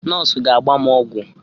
Nọọsụ ga-agba m ọgwụ